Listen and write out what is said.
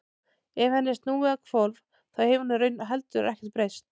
ef henni er snúið á hvolf þá hefur í raun heldur ekkert breyst